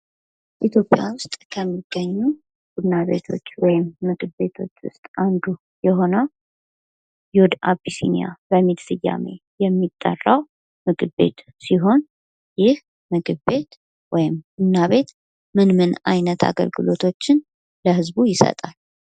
ኢትዮጵያ ዉስጥ ከሚገኙ ቡና ቤቶች ወይም ምግብ ቤቶች ዉስጥ አንዱ የሆነዉ እና ዮድ አቢሲኒያ በሚል ስያሜ የሚጠራ ምግብ ቤት ሲሆን ይህ ምግብ ቤት ወይም ቡና ቤት ምን ምን አገልግሎቶችን ለህዝቡ ይሰጣል?